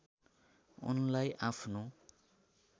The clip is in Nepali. उनलाई आफ्नो